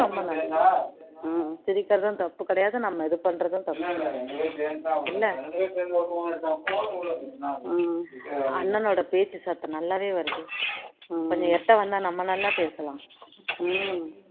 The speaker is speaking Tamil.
சிரிக்கிறதும் தப்பு கிடையாது நம்ம எது பண்றதும் தப்பு கிடையாது இல்ல அண்ணனோட பேச்சு சத்தம் நல்லாவே வ்ருது கொஞ்சம் எட்ட வந்தா நம்ம நல்லா பேசலாம்